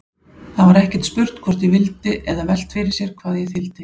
Það var ekkert spurt hvort ég vildi eða velt fyrir sér hvað ég þyldi.